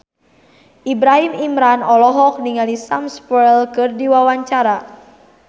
Ibrahim Imran olohok ningali Sam Spruell keur diwawancara